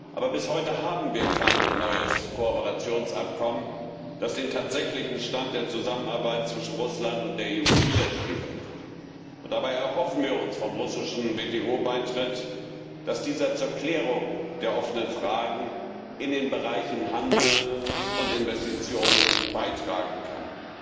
Aber bis heute haben wir kein neues Kooperationsabkommen, das den tatsächlichen Stand der Zusammenarbeit zwischen Russland und der EU widerspiegelt. Und dabei erhoffen wir uns vom russischen WTO Beitritt, dass dieser zur Klärung der offenen Fragen in den Bereichen Handel und Investitionen beitragen kann.